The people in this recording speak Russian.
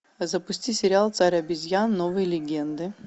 запусти сериал царь обезьян новые легенды